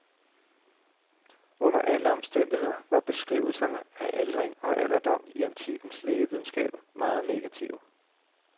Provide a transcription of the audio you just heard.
Under alle omstændigheder var beskrivelserne af aldring og alderdom i antikkens lægevidenskab meget negative.